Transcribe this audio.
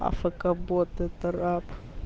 афк бот это раб